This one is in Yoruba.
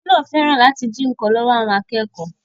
Ọkùnrin náà fẹ́ràn láti jí nkan lọ́wọ́ àwọn akẹ́kọ̀ọ́